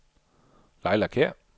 Laila Kjær